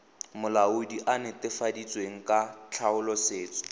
molaodi a netefaleditsweng ka tlhaolosetso